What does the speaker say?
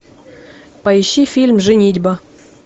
поищи фильм женитьба